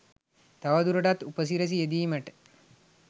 තවදුරටත් උපසිරිසි යෙදීමට